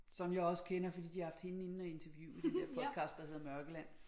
Som jeg også kender fordi de har haft hende inde og interviewe i den der podcast der hedder Mørkeland